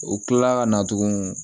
O kila la ka na tugun